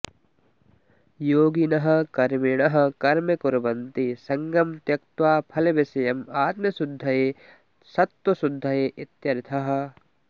योगिनः कर्मिणः कर्म कुर्वन्ति सङ्गं त्यक्त्वा फलविषयम् आत्मशुद्धये सत्त्वशुद्धये इत्यर्थः